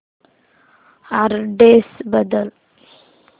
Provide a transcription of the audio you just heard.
address बदल